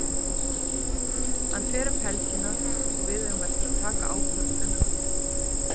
Hann fer um helgina og við eigum eftir að taka ákvörðun um hann.